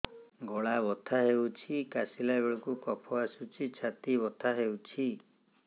ଗଳା ବଥା ହେଊଛି କାଶିଲା ବେଳକୁ କଫ ଆସୁଛି ଛାତି ବଥା ହେଉଛି